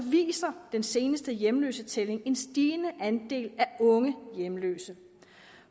viser den seneste hjemløsetælling en stigende andel af unge hjemløse